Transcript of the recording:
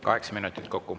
Kaheksa minutit kokku.